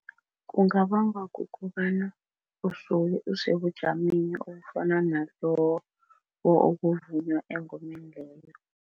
Kungabangwa kukobana usuke usebujameni obufana nalobo obuvunywa engomeni leyo.